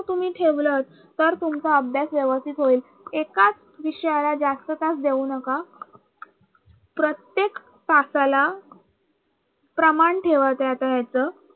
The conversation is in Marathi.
तुम्ही ठेवलं तर तुमचा अभ्यास व्यवस्थित होईल एकाच विषयाला जास्त तास देऊ नका प्रत्येक तासाला प्रमाण ठेवा